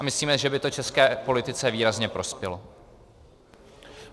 A myslíme, že by to české politice výrazně prospělo.